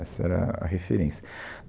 Essa era a referência.